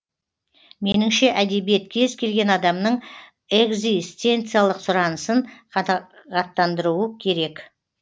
меніңше әдебиет кез келген адамның экзистенциялық сұранысын қанағаттандыруы керек